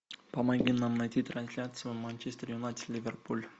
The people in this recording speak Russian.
помоги нам найти трансляцию манчестер юнайтед ливерпуль